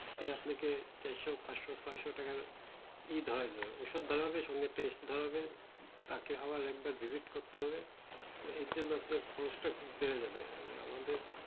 সে আপনাকে চারশো পাঁচশো ছয়শো টাকার ই ধরাই দেবে ওষুধ ধরাবে তার সঙ্গে test ধরাবে তাকে আবার একবার visit করতে হবে এর জন্য আপনার cost টা বেড়ে যাবে আহ আর আমাদের